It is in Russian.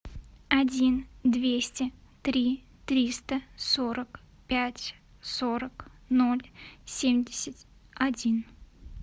один двести три триста сорок пять сорок ноль семьдесят один